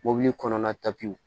Mobili kɔnɔna